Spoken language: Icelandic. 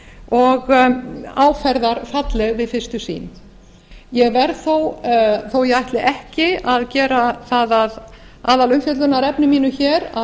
og áferðarfalleg við fyrstu sýn ég verð þó þó að ég ætli ekki að gera það að aðalumfjöllunarefni mínu hér að